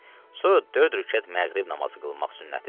Sonra dörd rükət məğrib namazı qılmaq sünnətidir.